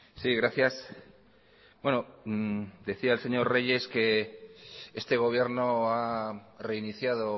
sí gracias bueno decía el señor reyes que este gobierno ha reiniciado